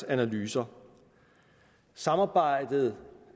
analyser samarbejdet